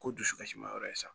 Ko dusukasi ma yɔrɔ ye sa